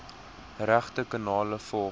regte kanale volg